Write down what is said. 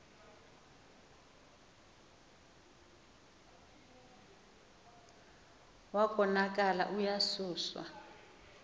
wa konakala uyasuswa